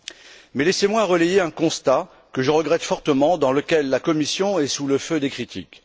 Je voudrais néanmoins relayer un constat, que je regrette fortement, dans lequel la Commission est sous le feu des critiques.